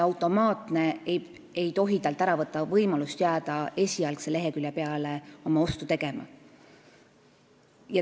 Automaatne suunamine ei tohi talt ära võtta võimalust jääda esialgse lehekülje peale oma ostu tegema.